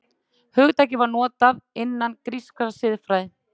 Hugtakið var notað innan grískrar siðfræði.